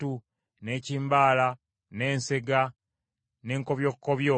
n’ekimbala, n’ensega, n’enkobyokkobyo;